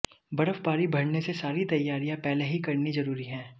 बर्फबारी बढ़ने से सारी तैयारियां पहले ही करनी जरूरी है